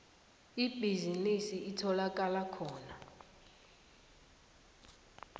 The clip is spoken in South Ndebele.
ibhizinisi itholakala khona